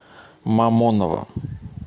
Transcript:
мамоново